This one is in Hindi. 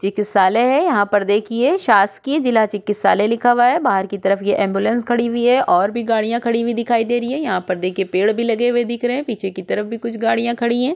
चिकित्सालय है यहाँ पर देखिये शासकिए ज़िला चिकित्सालय लिखा हुआ है बाहर की तरफ ये एम्ब्युलेन्स खाड़ी हुई है और भी गड़िया खड़ी हुई दिखाई दे रही है यहाँ पर देखिये पेड़ भी लगे हुए दिख रहै है पीछे की तरफ कुछ गड़िया खड़ी है।